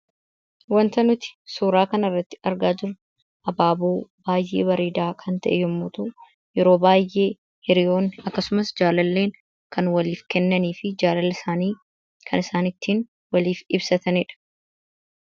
Waanta nuti suuraa kana irratti argaa jirru, abaaboo baayyee bareedaa kan ta'e yemmuu ta'u, yeroo baayyee hiriyoonni akkasumas jaalalleen kan waliif kennanii fi jaalala isaanii kan isaan ittiin waliin ibsatanidha.